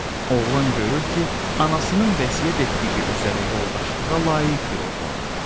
Oğlan görür ki, anasının vəsiyyət etdiyi üzərə yoldaşlığa layiq bir oğlandır.